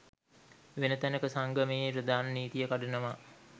වෙන තැනක සංගමයේ ප්‍රධාන නීතිය කඩනවා